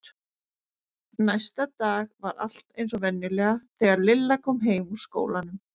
Næsta dag var allt eins og venjulega þegar Lilla kom heim úr skólanum.